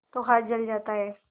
तो हाथ जल जाता है